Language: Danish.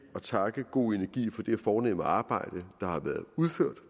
takke go energi for det fornemme arbejde der har været udført